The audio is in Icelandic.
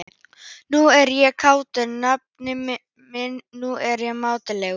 Nú er ég kátur, nafni minn, nú er ég mátulegur.